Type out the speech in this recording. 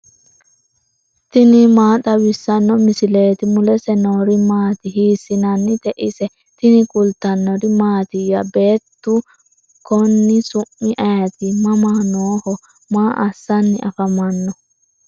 tini maa xawissanno misileeti ? mulese noori maati ? hiissinannite ise ? tini kultannori mattiya? Beettu konni su'mi ayiitti? mama nooho? maa assanni afammanno?